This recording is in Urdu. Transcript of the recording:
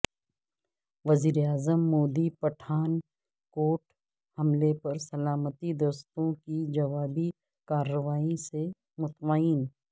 وزیراعظم مودی پٹھان کوٹ حملہ پر سلامتی دستوں کی جوابی کارروائی سے مطمئن